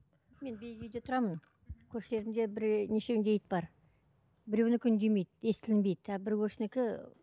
мен биік үйде тұрамын көршілерімде бірнешеуінде ит бар біреуінікі үндемейді естілінбейді а бір көршінікі